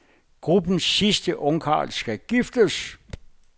Gruppens sidste ungkarl skal giftes.